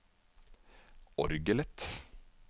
orgelet